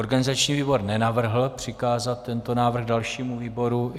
Organizační výbor nenavrhl přikázat tento návrh dalšímu výboru.